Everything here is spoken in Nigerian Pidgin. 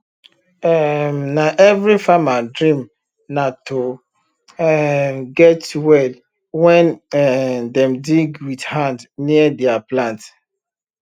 um na every farmer dream na to um get well wen um dem dig wit hand near dier plant